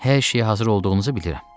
Hər şeyə hazır olduğunuzu bilirəm.